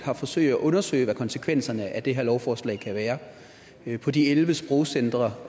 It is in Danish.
har forsøgt at undersøge hvad konsekvenserne af det her lovforslag kan være på de elleve sprogcentre